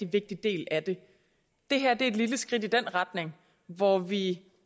vigtig del af det det her er et lille skridt i den retning hvor vi